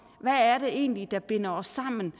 hvad det egentlig er der binder os sammen